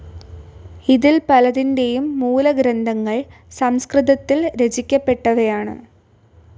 ഇതിൽ പലതിൻ്റെയും മൂലഗ്രന്ഥങ്ങൾ സംസ്കൃതത്തിൽ രചിക്കപ്പെട്ടവയാണ്.